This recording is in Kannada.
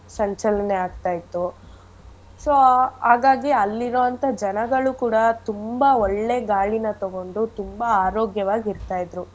ಸಂಚಲನೆ ಆಗ್ತಯಿತ್ತು so ಹಾಗಾಗಿ ಅಲ್ಲಿರೋಂಥ ಜನಗಳು ಕೂಡ ತುಂಬಾ ಒಳ್ಳೇ ಗಾಳಿನ ತೊಗೊಂಡು ತುಂಬಾ ಆರೋಗ್ಯವಾಗ್ ಇರ್ತಾ ಇದ್ರು.